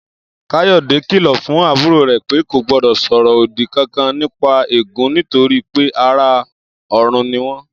Káyò̩dé kìlò̩ fún àbúrò rè̩ pé kò gbó̩dò̩ sò̩rò̩ òdi kankan nípa eégún nítorí pé ará ò̩run ni wó̩n